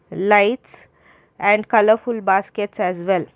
lights and colourful basket as well.